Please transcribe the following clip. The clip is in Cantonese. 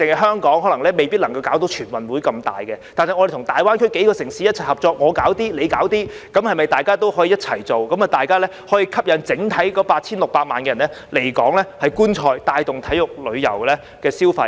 單單香港未必可以舉辦大型的全運會，但我們與大灣區數個城市一起合作，我們做一些，它們又做一些，那麼可否一起舉辦，吸引整體 8,600 萬人來港觀賽，帶動體育旅遊消費呢？